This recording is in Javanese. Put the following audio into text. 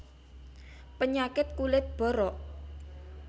Penyakit kulit borok